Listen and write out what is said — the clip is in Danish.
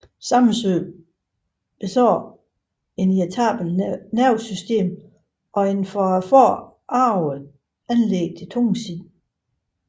Samsøe besad et irritabelt nervesystem og et fra faderen arvet anlæg til tungsind